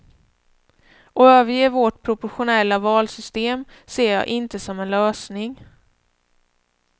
Att överge vårt proportionella valsystem ser jag inte som en lösning.